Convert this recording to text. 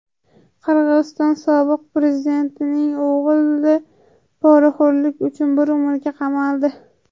Qirg‘iziston sobiq prezidentining o‘g‘li poraxo‘rlik uchun bir umrga qamaldi.